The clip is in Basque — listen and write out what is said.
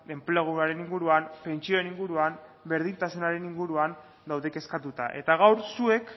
enpleguaren inguruan pentsioen inguruan berdintasunaren inguruan daude kezkatuta eta gaur zuek